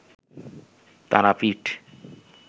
Tarapith